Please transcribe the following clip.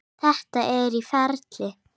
Þetta er í ferli.